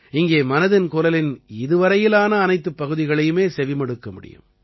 இங்கே மனதின் குரலின் இதுவரையிலான அனைத்துப் பகுதிகளையுமே செவிமடுக்க முடியும்